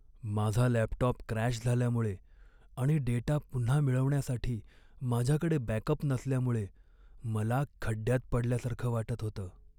माझा laptop crash झाल्यामुळे आणि डेटा पुन्हा मिळवण्यासाठी माझ्याकडे बॅकअप नसल्यामुळे मला खड्डयात पडल्यासारखं वाटत होतं.